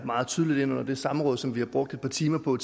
meget tydeligt ind under det samråd som vi har brugt et par timer